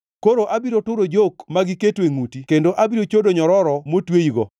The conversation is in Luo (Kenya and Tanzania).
Koro abiro turo jok ma giketo e ngʼuti kendo abiro chodo nyororo motweyigo.”